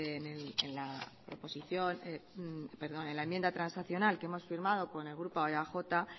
en la enmienda transaccional que hemos firmado con el grupo eaj